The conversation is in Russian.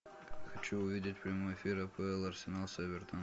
хочу увидеть прямой эфир апл арсенал с эвертон